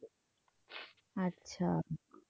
আচ্ছা।